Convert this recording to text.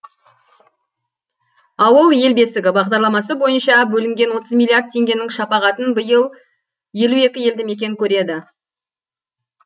ауыл ел бесігі бағдарламасы бойынша бөлінген отыз миллиард теңгенің шапағатын биыл елу екі елді мекен көреді